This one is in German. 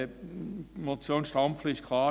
Die Motion Stampfli ist klar.